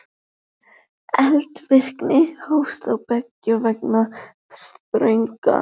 Eldvirkni hófst þá beggja vegna þess þrönga